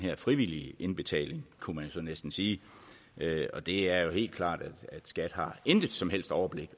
her frivillige indbetaling kunne man så næsten sige og det er jo helt klart at skat intet som helst overblik